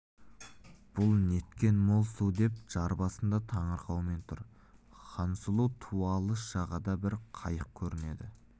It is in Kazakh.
бұл неткен мол су деп жар басында таңырқаумен тұр хансұлу ту алыс жағада бір қайық көрінеді